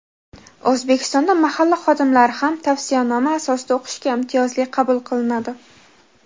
O‘zbekistonda mahalla xodimlari ham tavsiyanoma asosida o‘qishga imtiyozli qabul qilinadi.